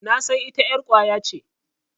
Nasan ita ƴar ƙwaya ce.